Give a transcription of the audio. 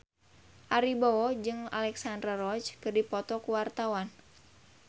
Ari Wibowo jeung Alexandra Roach keur dipoto ku wartawan